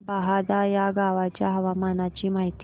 बहादा या गावाच्या हवामानाची माहिती दे